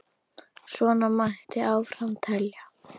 Svona mætti áfram telja.